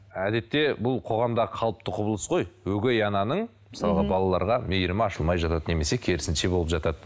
әдетте бұл қоғамда қалыпты құбылыс қой өгей ананың мысалға балаларға мейірімі ашылмай жатады немесе керісінше болып жатады